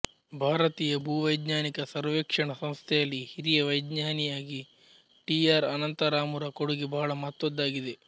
ಭಾರತೀಯ ಭೂವೈಜ್ಞಾನಿಕ ಸರ್ವೇಕ್ಷಣ ಸಂಸ್ಥೆಯಲ್ಲಿ ಹಿರಿಯ ವೈಜ್ಞಾನಿಯಾಗಿ ಟಿ ಆರ್ ಅನಂತರಾಮುರ ಕೊಡುಗೆ ಬಹಳ ಮಹತ್ವದ್ದಾಗಿದೆ